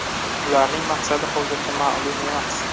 Ularning maqsadi hozircha ma’lum emas.